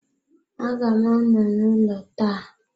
Aga m anọ n'ụlọ taa.